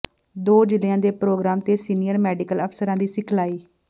ਦੋ ਜ਼ਿਲਿ੍ਹਆਂ ਦੇ ਪ੍ਰੋਗਰਾਮ ਤੇ ਸੀਨੀਅਰ ਮੈਡੀਕਲ ਅਫ਼ਸਰਾਂ ਦੀ ਸਿਖਲਾਈ